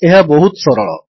ଏହା ବହୁତ ସରଳ